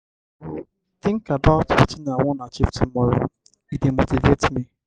i go think about wetin i wan achieve tomorrow; e dey motivate me.